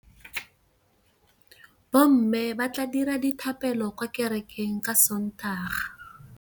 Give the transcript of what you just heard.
Bommê ba tla dira dithapêlô kwa kerekeng ka Sontaga.